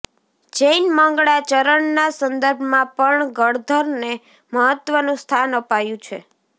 જૈન મંગળા ચરણના સંદર્ભમાં પણ ગણધરને મહત્વનું સ્થાન અપાયું છે